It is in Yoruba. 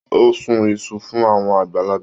O sún Isu fún àwọn àgbàlagbà.